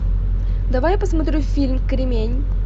давай посмотрю фильм кремень